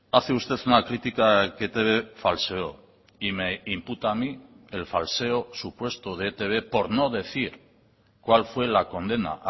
hace usted una crítica que etb falseó y me imputa a mí el falseo supuesto de etb por no decir cuál fue la condena